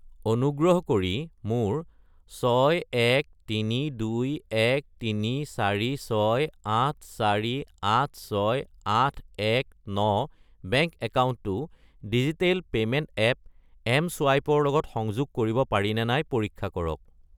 অনুগ্ৰহ কৰি মোৰ 613213468486819 বেংক একাউণ্টটো ডিজিটেল পে'মেণ্ট এপ এম.চুৱাইপ ৰ লগত সংযোগ কৰিব পাৰিনে নাই পৰীক্ষা কৰক।